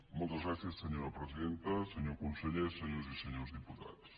moltes gràcies senyora presidenta senyor conseller senyores i senyors diputats